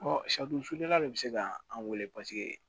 saridon sufɛla de bɛ se ka an wele